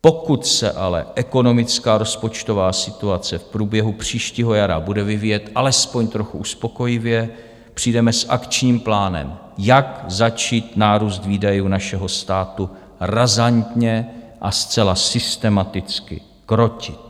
Pokud se ale ekonomická rozpočtová situace v průběhu příštího jara bude vyvíjet alespoň trochu uspokojivě, přijdeme s akčním plánem, jak začít nárůst výdajů našeho státu razantně a zcela systematicky krotit.